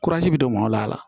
bɛ don mɔn la